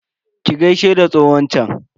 Ki gaishe da tsohon chan?